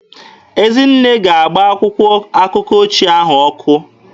Ezinne ga-agba akwụkwọ akụkọ ochie ndị ahụ ọkụ.